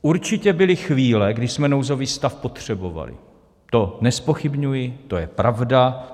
Určitě byly chvíle, kdy jsme nouzový stav potřebovali, to nezpochybňuji, to je pravda.